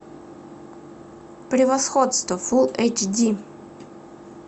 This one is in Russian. превосходство фул эйч ди